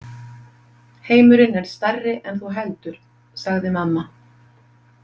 Heimurinn er stærri en þú heldur, sagði mamma.